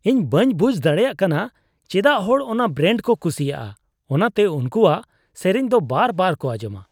ᱤᱧ ᱵᱟᱹᱧ ᱵᱩᱡᱷ ᱫᱟᱲᱮᱭᱟᱜ ᱠᱟᱱᱟ ᱪᱮᱫᱟᱜ ᱦᱚᱲ ᱚᱱᱟ ᱵᱨᱮᱱᱰ ᱠᱚ ᱠᱩᱥᱤᱭᱟᱜᱼᱟ ᱾ ᱚᱱᱟᱛᱮ ᱩᱱᱠᱩᱣᱟᱜ ᱥᱮᱨᱮᱧ ᱫᱚ ᱵᱟᱨᱵᱟᱨ ᱠᱚ ᱟᱸᱧᱡᱚᱢᱟ ᱾